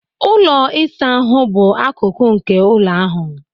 Ụlọ ịsa ahụ bụ akụkụ nke ụlọ ahụ